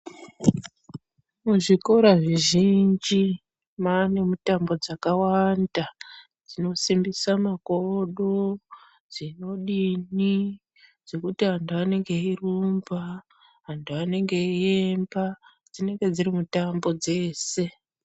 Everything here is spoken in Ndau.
Muzvikora zvizhinji mwane mutambo dzakawanda dzinosimbisa makodoko dzinodini dzekuti anhu anenge eirumba vantu vanenge veiyemba dzinenge dziri mutambo dzese.